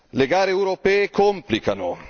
Le gare europee complicano.